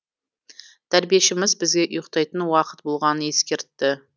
тәрбиешіміз бізге ұйықтайтын уақыт болғанын ескертті